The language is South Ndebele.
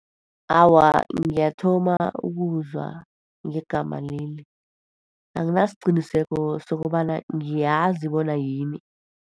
Awa, ngiyathoma ukuzwa ngegama leli. Anginasiqiniseko sokobana ngiyazi bona yini.